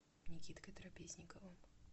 никиткой трапезниковым